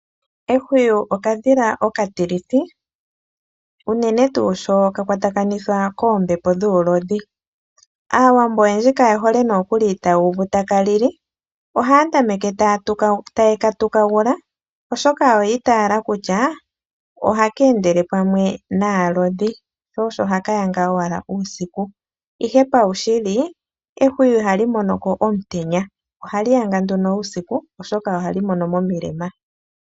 Ehwiyu okadhila okatilithi, uunene tuu sho kakwatakanithwa keembepo dhulodhi. Aawambo oyendji kaye hole nokuli tayuva takalili, ohaya tameke taye katukagula oshoka oyi tayela kutya oha kendele pamwe naalodhi sho osho hakayaga wala uusiku, ihe pawu shili ehwiyu iha li monoko omutenya, ohali yaga nduno uusiku oshoka ohali mono momilema.